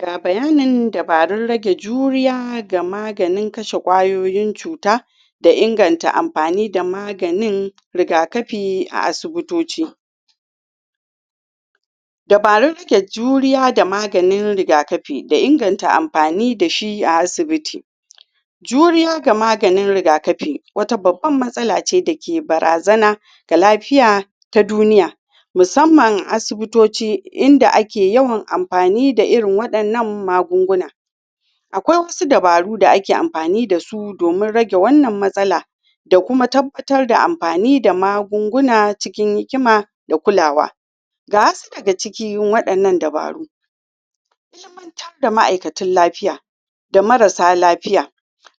ga bayanin dabarun rage juriya ga maganin kashe kwayoyin cuta da inganta amfani da maganin rigakafi a asibitoci dabarun rike juriya da maganin rigakafi dainganta amfani da shi a asibiti juriya ga maganin rigakafi wata babban masala ce da ke barazana da lafiya ta duniya musamman asibitoci in da ake amfani da irin wadannan magunguna akwai wasu dabaru da ake amfani da su domin rage wannan matsala da kuma tabbatar da amfani da magunguna cikinhikima da kulawa ga wasu daga cikin wadannan dabaru ilimantar da masu lafiya da marasa lafiya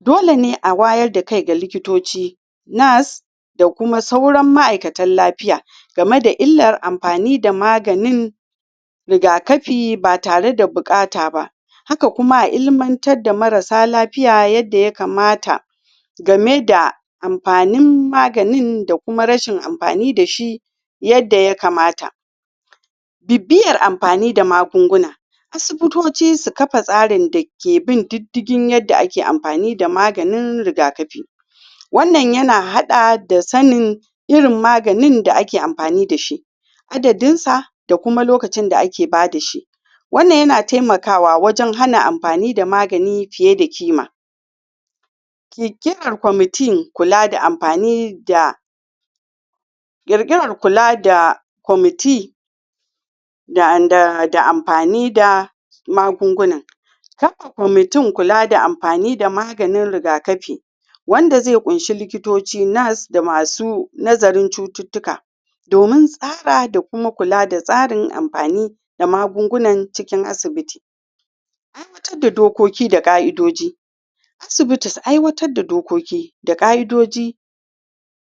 dole ne a wayar da kai ga likitoci, nurse da kuma sauran ma'aikatan lafiya game da illar amfani da maganin rigakafi ba tare da bukata ba haka kuma a ilmantar da marasa lafiya yanda ya kamata game da amfanin maganin da kuma rashin amfanin da shi yadda ya kamata bibiyar amfani da magunguna asibitoci su kafa tsarin da ke bin didigin da yadda ake amfani da maganin rigakafi wannan yana hada da sannin irin maganin da ake amfanin da shi adadin sa da kuma lokacin da ake amfani da shi wannan ya na taimakawa dan hana amfani da magani fiye da ƙima kikima komitin kula da amfani da girgire kula da komiti da amfani da magunguna haka komitin kula da amfani da maganin rigakafi wanda zai kunshi likitoci nurse da masu nazarin cututuka domin tsara da kuma kula da tsarin amfani da magungunan cikin asibiti aiwatar da dokoki da ka'idodi asibiti su aiwatar da dokoki da ka'idoji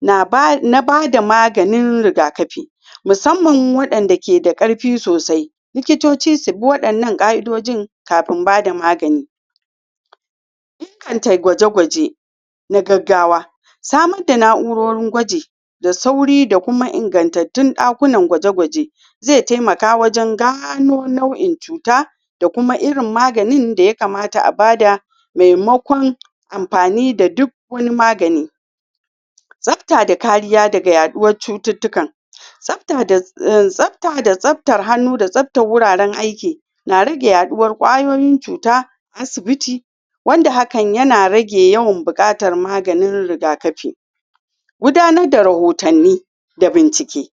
na ba da maganin rigakafi musamman wanda ke da karfi sosai likitoci su wadannan ka'idojin kafin ba da magani inganta gwaje gwaje na gaggawa samun da naurorin gwaji da sauri da kuma ingantatun dakunan gwaje gwaje zai taimaka wajen gano nau'in cuta da kuma irinmaganin da ya kamata a ba da maimakon amfani da duk wani magani safta da kariya daga yaduwan cututuka tsafta da tsaftar hannu da tsaftar wuraren aiki na rage yaduwar kwayoyin cuta asibiti wanda hakan yana rage yawan bukatar magani rigakafi gudannar da rahotanni da bincike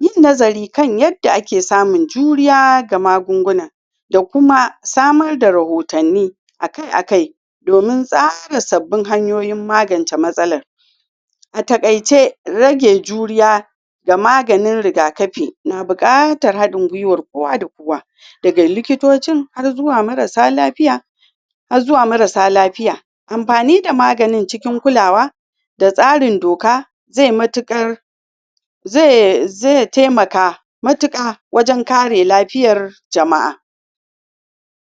yin nazari kan yadda ake samun juriya ga magunguna da kuma samar da rahotanni akai akai domin saba sabin hanyoyi maganta masalar a takaice rage juriya da maganin rigakafi na bukatar hadin gwiwa na kowa da kowa daga likitocin har zuwa marasa lafiya har zuwa marasa lafiya amfani da magani cikin kulawa da tsarin doka zai matukar zai taimaka matuka wajen kare lafiyar jama'a